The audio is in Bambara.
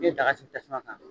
N bɛ daga sigi tasuma kan.